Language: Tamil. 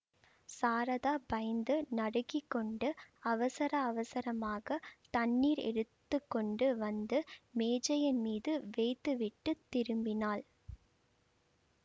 சாரதா பயந்து நடுங்கிக்கொண்டு அவசர அவசரமாக தண்ணீர் எடுத்து கொண்டு வந்து மேஜையின் மீது வைத்துவிட்டுத் திரும்பினாள்